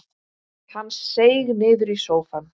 Hann seig niður í sófann.